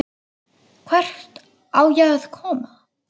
Hvert á ég að koma?